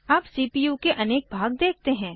अब सीपीयू के अनेक भाग देखते हैं